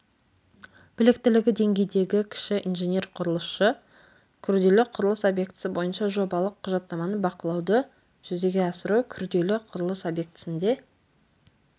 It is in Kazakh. біліктілігі деңгейдегі кіші инженер-құрылысшы күрделі құрылыс объектісі бойынша жобалық құжаттаманы бақылауды жүзеге асыру күрделі құрылыс объектісінде